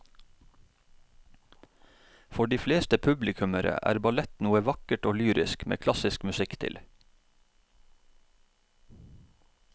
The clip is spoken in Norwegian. For de fleste publikummere er ballett noe vakkert og lyrisk med klassisk musikk til.